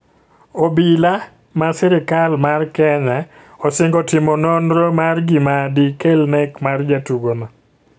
Obila ma sirikal mar Kenya osingo timo noro mar gima di kel Nek mar jatugo no.